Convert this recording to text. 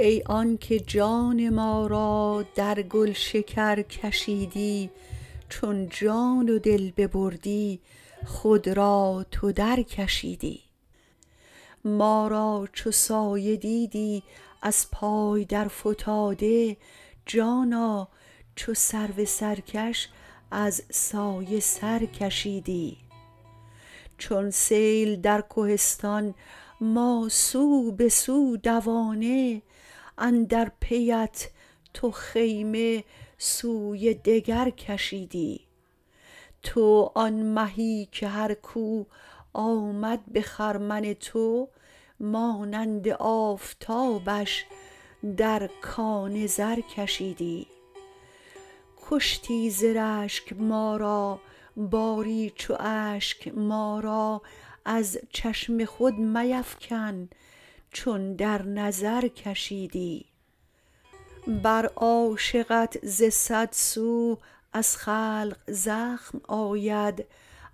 ای آنک جان ما را در گلشکر کشیدی چون جان و دل ببردی خود را تو درکشیدی ما را چو سایه دیدی از پای درفتاده جانا چو سرو سرکش از سایه سر کشیدی چون سیل در کهستان ما سو به سو دوانه اندر پیت تو خیمه سوی دگر کشیدی تو آن مهی که هر کو آمد به خرمن تو مانند آفتابش در کان زر کشیدی کشتی ز رشک ما را باری چو اشک ما را از چشم خود میفکن چون در نظر کشیدی بر عاشقت ز صد سو از خلق زخم آید